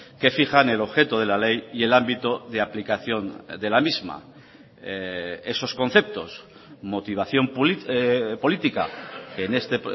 que fijan el objeto de la ley y el ámbito de aplicación de la misma esos conceptos motivación política en este